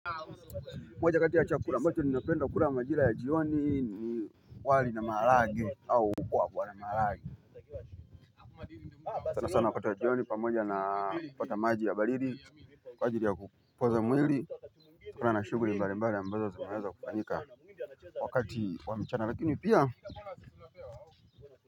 Moja kati ya chakula mbacho ninapenda kula majira ya jioni ni wali na maharage au kuku kwa na maharage sana sana wakati wa jioni pamoja na kupata maji ya baridi kwa ajili ya kupoza mwili kutana na shughuli mbali mbali ambazo zinaweza kufanyika wakati wa mchana lakini pia.